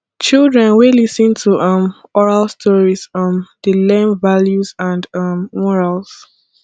children wey lis ten to um oral stories um dey learn values and um morals